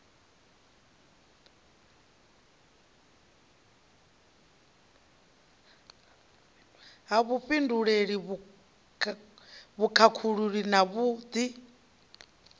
ha vhufhinduleli vhukhakhululi na vhud